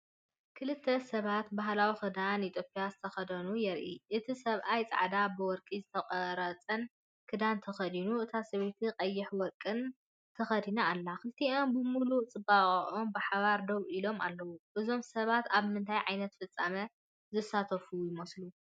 ክልተ ሰባት ብባህላዊ ክዳን ኢትዮጵያ ዝተኸድኑ የርኢ። እቲ ሰብኣይ ጻዕዳን ብወርቂ ዝተቖርጸን ክዳን ተኸዲኑ፤ እታ ሰበይቲ ቀይሕን ወርቅን ተኸዲና ኣላ። ክልቲኦም ብሙሉእ ጽባቐኦም ብሓባር ደው ኢሎም ኣለዉ፡፡ እዞም ሰባት ኣብ ምንታይ ዓይነት ፍጻመ ዝሳተፉ ይመስሉ?